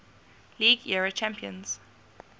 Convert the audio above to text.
league era champions